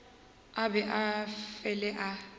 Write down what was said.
a be a fele a